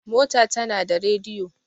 mota tana da rediyo